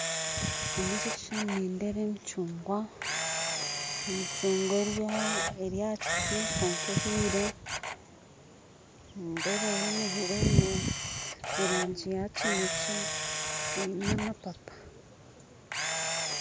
Omuri eki ekishushani nindeeba emicungwa emicungwa eryahakiti kwonka ehiire nindeeba yoona ehiire eri omurangi ya kinekye eine amapapa